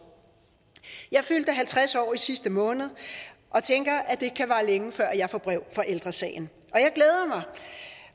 jeg fyldte halvtreds år i sidste måned og tænker at det kan vare længe før jeg får brev fra ældre sagen